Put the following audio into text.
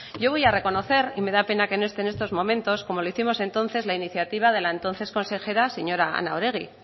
yo voy a reconocer y me da pena que no esté en estos momentos como lo hicimos entonces la iniciativa de la entonces consejera señora ana oregi